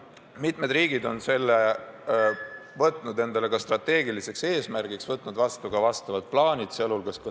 Mitmed teised riigid on ka võtnud selle endale strateegiliseks eesmärgiks ja koostanud vastavad plaanid.